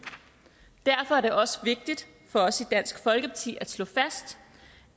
derfor er det også vigtigt for os i dansk folkeparti at slå fast